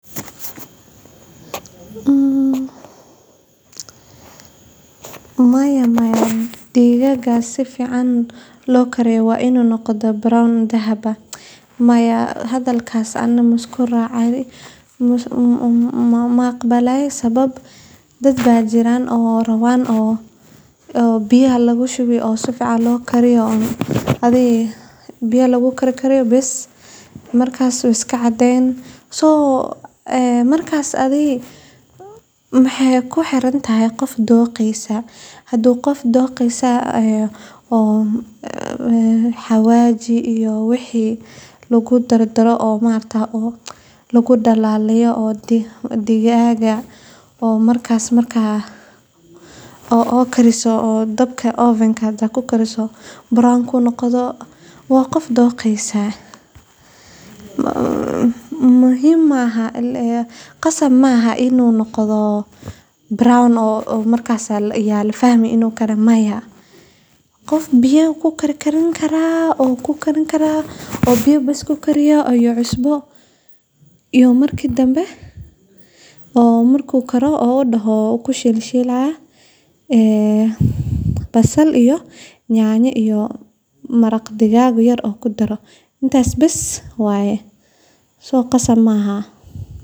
Maya maya digaagga si fiican loo kariyo waa inuu yeeshaa midabka bunni dahabi ah , taasoo muujinaysa inuu gaaray heer fiican oo bislaansho iyo dhadhan leh. Marka digaagga lagu kariyo si habboon – ha ahaato shiilid, dubid ama karis kale – midabkani wuxuu astaan u yahay in hilibku si fiican u bislaaday oo aanu qabow ama ceyriin ahayn gudaha. Midabka bunni dahabiga ah sidoo kale wuxuu tilmaamayaa in maqaarka ama dusha digaagga uu noqday jilicsan ama qafiif u karsan oo leh dhadhan macaan iyo ur udgoon. Si tan loo gaaro, waxaa muhiim ah in la isticmaalo heerkul ku filan,